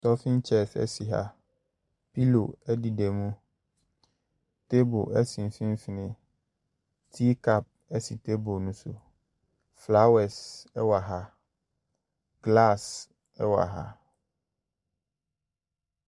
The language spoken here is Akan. Stofin chairs si ha. Pillow deda mu. Table si mfimfini. Tea cup si table no so. Flowres wɔ ha. Glass wɔ ha.